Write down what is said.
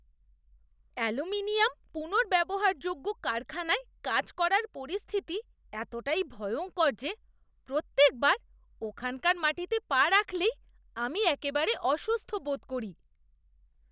Aluminium পুনর্ব্যবহারযোগ্য কারখানায় কাজ করার পরিস্থিতি এতটাই ভয়ঙ্কর যে প্রত্যেকবার ওখানকার মাটিতে পা রাখলেই আমি একেবারে অসুস্থ বোধ করি।